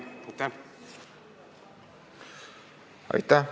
Aitäh!